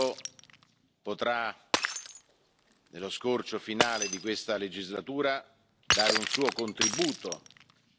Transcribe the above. which you shared with us in your final remarks. Thank you, Jean Claude Juncker. But there is still a lot to do and that is the main message of today's State of the Union speech.